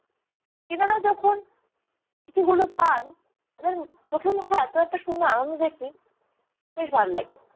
চিঠি গুলো পান তাদের চোখে মুখে এতো এত সুন্দর আনন্দ দেখি বেশ ভাল লাগে।